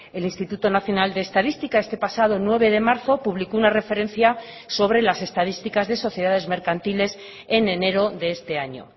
el instituto nacional de estadística este pasado nueve de marzo publicó una referencia sobre las estadísticas de sociedades mercantiles en enero de este año